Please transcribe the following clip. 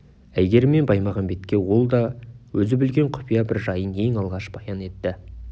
әйгерім мен баймағамбетке ол да өзі білген құпия бір жайын ең алғаш баян етті